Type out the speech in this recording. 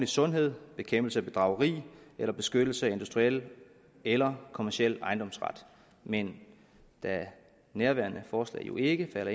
sundhed bekæmpelse af bedrageri eller beskyttelse af industriel eller kommerciel ejendomsret men da nærværende forslag jo ikke falder